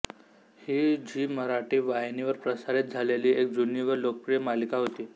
ही झी मराठी वाहिनीवर प्रसारित झालेली एक जुनी व लोकप्रिय मालिका होती